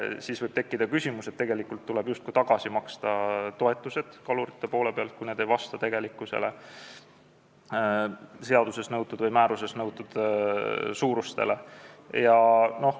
Kui võrgusilmad ei vasta seaduses või määruses nõutule, siis võib tekkida küsimus, kas kaluritel tuleb toetused tagasi maksta.